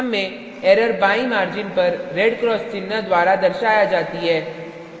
program में error बाईं margin पर red cross चिन्ह द्वारा दर्शाया जाती है